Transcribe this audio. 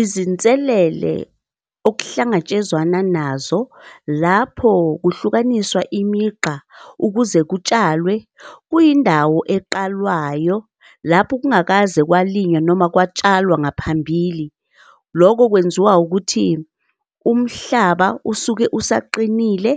Izinselele okuhlangatshezwana nazo lapho kuhlukaniswa imigqa ukuze kutshalwe kuyindawo eqalwayo lapho kungakaze kwakulinywa noma kwatshalwa ngaphambili. Loko kwenziwa ukuthi umhlaba usuke usaqinile